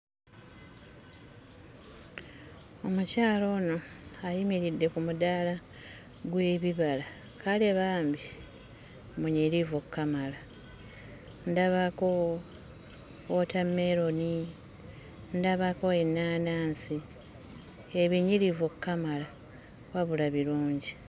Omukyala ono ayimiridde ku mudaala gw'ebibala. Kale bambi munyirivu okkamala. Ndabako wootameroni, ndabako ennaanansi ebinyirivu okkamala, wabula birungi!